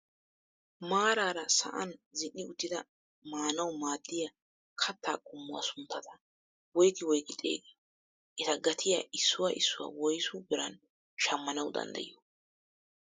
Maarara sa'an zin"i uttida maanawu maaddiyaa katta qommuwaa sunttata woygi woygi xeegiyoo? eta gaatiyaa issuwaa issuwaa woysu biran shammanwu dandayiyoo?